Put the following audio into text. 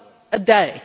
a day.